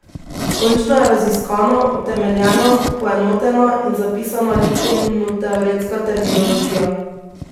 Končno je raziskana, utemeljena, poenotena in zapisana likovnoteoretska terminologija.